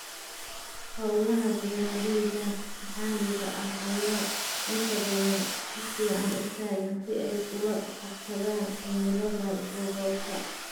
Hawlaha beeralayda maxalliga ah ayaa inta badan si fiican u taagan si ay ula qabsadaan cimilada gobolka.